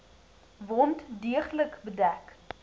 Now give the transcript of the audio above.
wond deeglik bedek